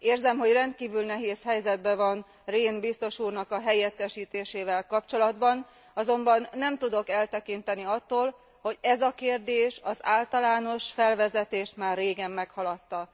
Érzem, hogy rendkívül nehéz helyzetben van Rehn biztos úrnak a helyettesítésével kapcsolatban, azonban nem tudok eltekinteni attól, hogy ez a kérdés, az általános felvezetést már régen meghaladta.